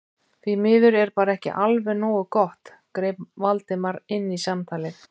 Því miður er bara ekki alveg nógu gott- greip Valdimar inn í samtalið.